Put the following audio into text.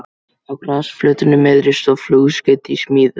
Á grasflötinni miðri stóð flugskeyti í smíðum.